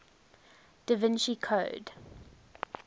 da vinci code